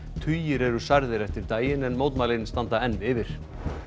tugir eru særðir eftir daginn en mótmælin standa enn yfir